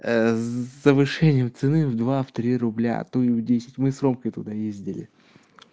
завышение цены в два в три рубля а то и в десять мы с ромкой туда ездили